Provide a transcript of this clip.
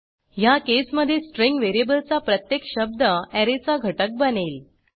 ह्या केसमधे स्ट्रिंग व्हेरिएबलचा प्रत्येक शब्द ऍरेचा घटक बनेल